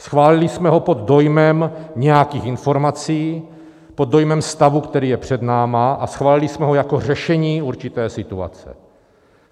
Schválili jsme ho pod dojmem nějakých informací, pod dojmem stavu, který je před námi, a schválili jsme ho jako řešení určité situace.